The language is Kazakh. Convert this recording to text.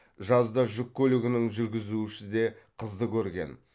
жазда жүк көлігінің жүргізушісі де қызды көрген